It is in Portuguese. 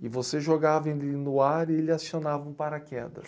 e você jogava ele no ar e ele acionava um paraquedas.